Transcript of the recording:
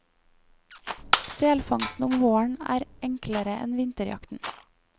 Selfangsten om våren er enklere enn vinterjakten.